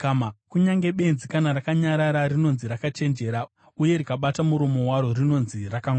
Kunyange benzi, kana rakanyarara, rinonzi rakachenjera, uye rikabata muromo waro rinonzi rakangwara.